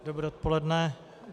Dobré odpoledne.